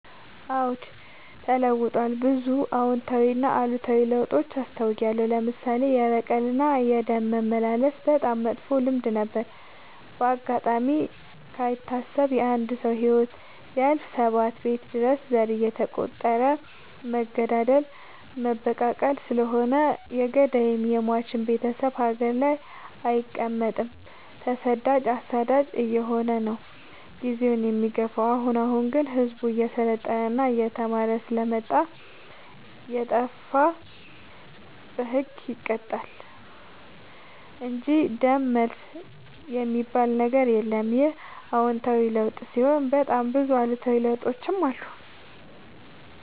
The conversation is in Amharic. አዎድ ተለውጧል ብዙ አዎታዊ እና አሉታዊ ለውጥ አስታውያለሁ። ለምሳሌ፦ የበቀል እና የደም መመላለስ በጣም መጥፎ ልማድ ነበረ። በአጋጣሚ ካይታሰብ የአንድ ሰው ህይወት ቢያልፍ ሰባት ቤት ድረስ ዘር እየተ ቆጠረ መገዳደል መበቃቀል ስለሆነ የገዳይም የሞችም ቤቴሰብ ሀገር ላይ አይቀ መጥም ተሰዳጅ አሳዳጅ አየሆነ ነው። ጊዜውን የሚገፋው። አሁን አሁን ግን ህዝቡ እየሰለጠና እየተማረ ስለመጣ። የጣፋ በህግ ይቀጣል እንጂ ደም መልስ የሚበል ነገር የለም ይህ አዎታዊ ለውጥ ሲሆን በጣም ብዙ አሉታዊ ለውጦችም አሉ።